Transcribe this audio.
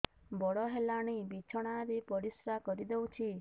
ବଡ଼ ହେଲାଣି ବିଛଣା ରେ ପରିସ୍ରା କରିଦେଉଛି